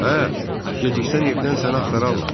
Hə, geciksən evdən səni axtararlar.